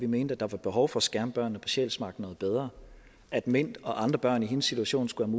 ment at der var behov for at skærme børnene på sjælsmark noget bedre at mint og andre børn i hendes situation skulle